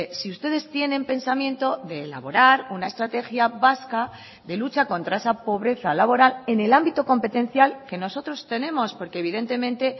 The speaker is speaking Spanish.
si ustedes tienen pensamiento de elaborar una estrategia vasca de lucha contra esa pobreza laboral en el ámbito competencial que nosotros tenemos porque evidentemente